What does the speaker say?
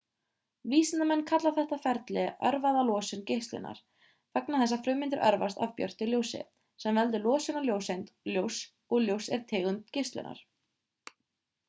vísindamenn kalla þetta ferli örvaða losun geislunar vegna þess að frumeindir örvast af björtu ljósi sem veldur losun á ljóseind ljóss og ljós er tegund geislunar